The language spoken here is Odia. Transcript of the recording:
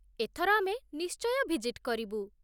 ଏଥର ଆମେ ନିଶ୍ଚୟ ଭିଜିଟ୍ କରିବୁ ।